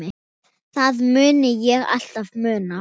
Það mun ég alltaf muna.